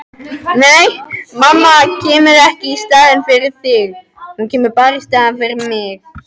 Mamma kemur ekki í staðinn fyrir þig.